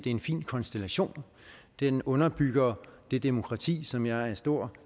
er en fin konstellation den underbygger det demokrati som jeg er en stor